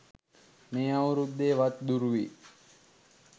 මේ අවුරුද්දේ වත් දුරුවී